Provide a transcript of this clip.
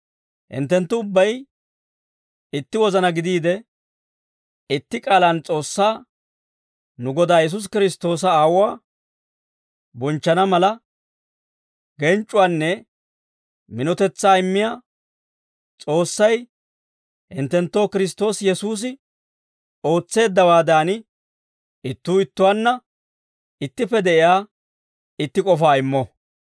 Hinttenttu ubbay itti wozana gidiide, itti k'aalaan S'oossaa, nu Godaa Yesuusi Kiristtoosa Aawuwaa, bonchchana mala, genc'c'uwaanne minotetsaa immiyaa S'oossay, hinttenttoo Kiristtoosi Yesuusi ootseeddawaadan, ittuu ittuwaanna ittippe de'iyaa itti k'ofaa immo.